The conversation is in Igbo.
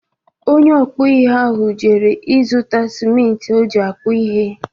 Onye ọkpụ ihe ahụ jere ịzụta smiti o ji akpụ ihe.